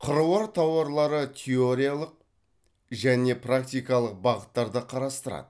қыруар тараулары теориялық және практикалық бағыттарды қарастырады